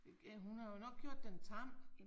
Hun har jo nok gjort den tam